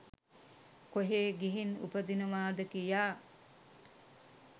කොහේ ගිහින් උපදිනවාද කියා